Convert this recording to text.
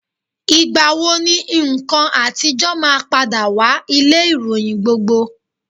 Ìgbà wo ni nǹkan àtijọ́ máa padà wá ilé-ìròyìn gbogbo?